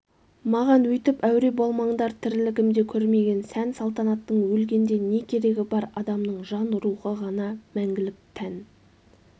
маған өйтіп әуре болмаңдар тірлігімде көрмеген сән-салтанаттың өлгенде не керегі бар адамның жан-рухы ғана мәңгілік тән